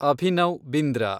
Abhinav Bindra